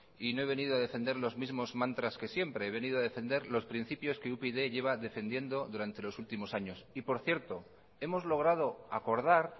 y no he venido a defender los mismo mantras que siempre he venido a defender los principios que upyd llevan defendiendo durante los últimos años y por cierto hemos logrado acordar